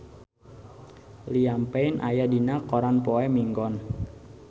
Liam Payne aya dina koran poe Minggon